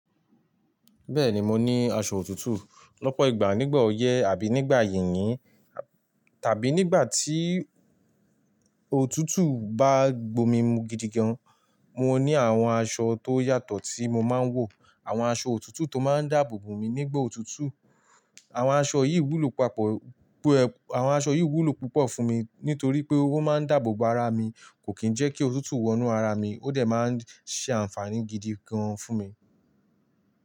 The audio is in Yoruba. Bẹ́ẹ̀ni mo ní aṣọ òtútù. Lọ́pọ̀ ìgbà nígbà ọyẹ́ àbí nígbà yìnyín tàbí nígbà tí òtútù bá gbomi mu gidigan, mo ní àwọn aṣọ tó yàtọ̀ tí mo máa ń wọ̀. Àwọn aṣọ òtútù tó máa ń dáàbò bo mi nígbà òtútù. Àwọn aṣọ yìí wúlò papọ̀, àwọn aṣọ yìí wúlò púpọ̀ fún mi nítorí pé ó máa ń dáàbò bo ara mi, kò kíì jẹ́ kí òtútù wọnú ara mi, ó dẹ̀ máa ń ṣe àǹfààní gidi gan fún mi.